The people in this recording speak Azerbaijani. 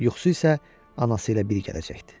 Yuxusu isə anası ilə bir gələcəkdi.